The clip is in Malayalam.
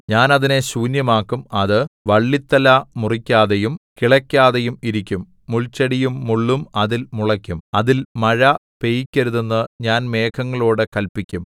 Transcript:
ഞാൻ അതിനെ ശൂന്യമാക്കും അത് വള്ളിത്തല മുറിക്കാതെയും കിളയ്ക്കാതെയും ഇരിക്കും മുൾച്ചെടിയും മുള്ളും അതിൽ മുളയ്ക്കും അതിൽ മഴ പെയ്യിക്കരുതെന്നു ഞാൻ മേഘങ്ങളോടു കല്പിക്കും